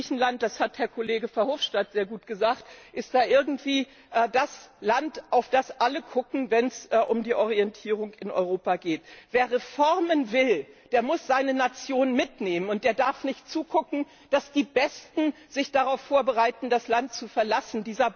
Griechenland das hat Herr Kollege Verhofstadt sehr gut gesagt ist da irgendwie das Land, auf das alle schauen, wenn es um die Orientierung in Europa geht. Wer Reformen will, der muss seine Nation mitnehmen, der darf nicht zusehen, dass die Besten sich darauf vorbereiten, das Land zu verlassen.